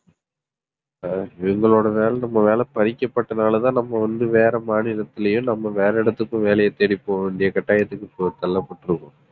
அஹ் எங்களோட வேலை நம்ம வேலை பறிக்கப்பட்டனாலதான் நம்ம வந்து வேற மாநிலத்திலயும் நம்ம வேற இடத்துக்கும் வேலையை தேடி போக வேண்டிய கட்டாயத்துக்கு இப்போ தள்ளப்பட்டிருக்கோம்.